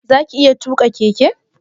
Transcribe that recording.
Zaka iya tuƙa keke?